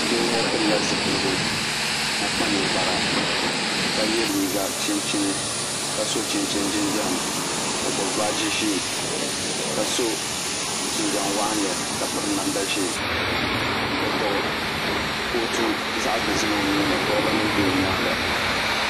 Doo ŋɔ pili la zupiligu ka kpa ninkpara ka yiɛ liiga chinchini ka so chinchini jinjam o gbubi baaji zɛɛ ka so jinjam waɣinli ka piri namda zɛɛ o gbubi kootu zaɣi dozim o nuuni koliba nima bɛ o yɛanga.